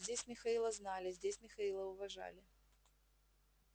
здесь михаила знали здесь михаила уважали